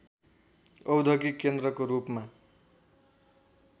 औद्योगिक केन्द्रको रूपमा